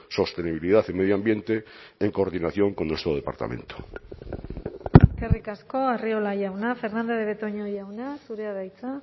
sostenibilidad y medio ambiente en coordinación con nuestro departamento eskerrik asko arriola jauna fernandez de betoño jauna zurea da hitza